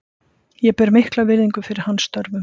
Ég ber mikla virðingu fyrir hans störfum.